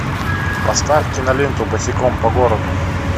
поставь киноленту босиком по городу